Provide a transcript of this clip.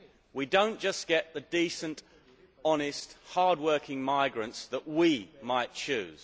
we do not just get the decent, honest, hard working migrants that we might choose.